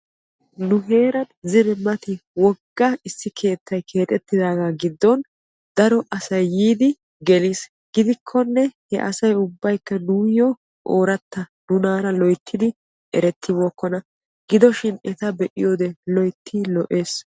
Nu heeran zine mati wogga issi keettay keexetidaaga giddon daro asay yiiddi geliis gidikkonne he asay ubbay nuuyo ooratta nunara loyttiddi erettibookkonna etta be'iyoode loytti lo'ees.